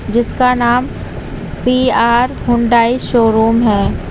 जिसका नाम P R Hyundai showroom है।